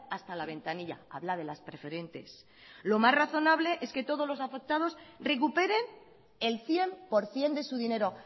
hasta la ventanilla habla de las preferentes lo más razonables es que todos los afectados recuperen el cien por ciento de su dinero